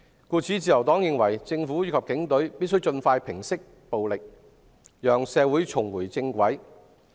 故此，自由黨認為，政府及警隊必須盡快平息暴力，讓社會重回正軌。